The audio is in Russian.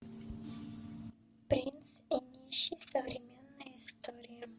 принц и нищий современная история